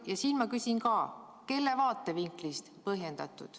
Ka selle kohta küsin ma, et kelle vaatevinklist põhjendatud.